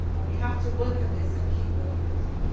We have to work at this and keep working at